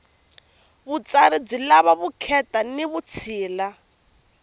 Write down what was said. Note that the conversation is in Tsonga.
vutsari byi lava vukheta ni vutshila